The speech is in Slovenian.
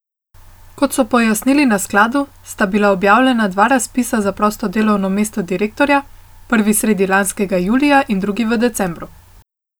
Kot so pojasnili na skladu, sta bila objavljena dva razpisa za prosto delovno mesto direktorja, prvi sredi lanskega julija in drugi v decembru.